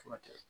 Furakɛ